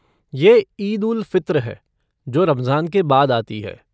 ये ईद उल फ़ितर है, जो रमज़ान के बाद आती है।